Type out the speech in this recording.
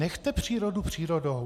Nechte přírodu přírodou.